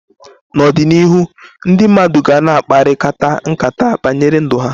N'ọdịnihu ndị mmadụ ga na akparịkata nkata banyere ndụ ha.